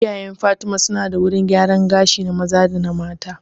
Iyayen fatima su na da wurin gyaran gashi na maza da mata